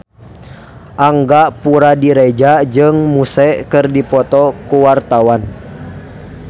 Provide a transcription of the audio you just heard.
Angga Puradiredja jeung Muse keur dipoto ku wartawan